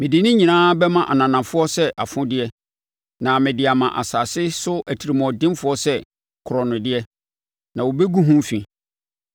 Mede ne nyinaa bɛma ananafoɔ sɛ afodeɛ na mede ama asase so atirimuɔdenfoɔ sɛ korɔnodeɛ, na wɔbɛgu ho fi.